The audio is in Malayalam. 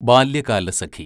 ബാല്യകാലസഖി